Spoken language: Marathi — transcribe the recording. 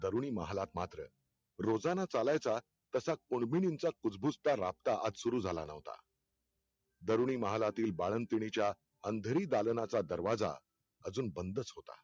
तरुणी महालात मात्र, रोजाना चालायचा तसा कुनबिनींचा कुजबुजता राबता आज सुरु झाला नव्हता. तरुणीमहालांतील बाळंतीणीच्या अंधेरी दालनाचा दरवाजा अजुन बंदच होता.